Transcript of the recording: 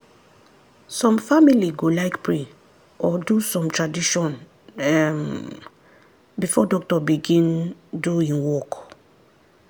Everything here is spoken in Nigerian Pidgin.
some family go like pray or do some tradition um before doctor begin do en work.